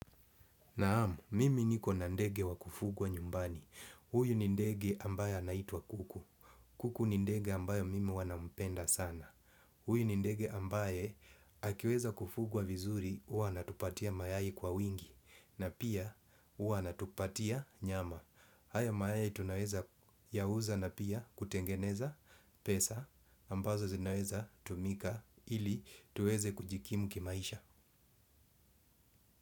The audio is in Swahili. Naam, mimi nikona ndege wa kufugwa nyumbani. Huyu ni ndege ambaye anaitwa kuku. Kuku ni ndege ambayo mimi huwa nampenda sana. Huyu ni ndege ambaye akiweza kufugwa vizuri, huwa anatupatia mayai kwa wingi. Na pia, uwa natupatia nyama. Haya mayai tunaweza yauza na pia kutengeneza pesa ambazo zinaweza tumika ili tuweze kujikimu kimaisha.